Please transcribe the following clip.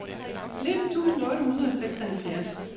nitten tusind otte hundrede og seksoghalvfjerds